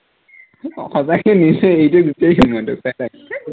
সঁচাকে এৰি থৈ এৰি থৈ গুচি আহিম মই তোক তাতে